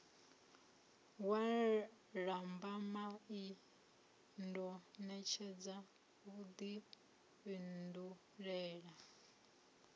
wa lambamai ndo ṋetshedza vhuḓifhindulele